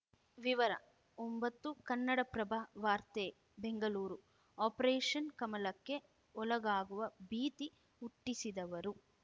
ವಿವರ ಒಂಬತ್ತು ಕನ್ನಡಪ್ರಭ ವಾರ್ತೆ ಬೆಂಗಳೂರು ಆಪರೇಷನ್‌ ಕಮಲಕ್ಕೆ ಒಳಗಾಗುವ ಭೀತಿ ಹುಟ್ಟಿಸಿದವರು